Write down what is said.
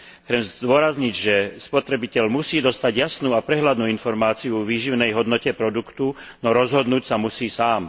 Chcem zdôrazniť, že spotrebiteľ musí dostať jasnú a prehľadnú informáciu o výživovej hodnote produktu, no rozhodnúť sa musí sám.